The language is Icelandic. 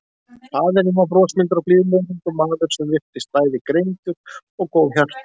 Faðirinn var brosmildur og blíðlegur ungur maður sem virtist bæði greindur og góðhjartaður.